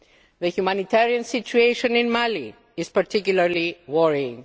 The humanitarian situation in Mali is particularly worrying.